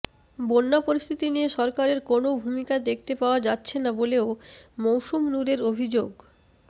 বন্যা পরিস্থিতি নিয়ে সরকারের কোনও ভূমিকা দেখতে পাওয়া যাচ্ছে না বলেও মৌসম নূরের অভিযোগ